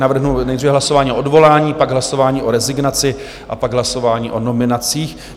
Navrhnu nejdříve hlasování o odvolání, pak hlasování o rezignaci a pak hlasování o nominacích.